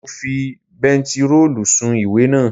Mo fi bentiróòlù sun ìwé naa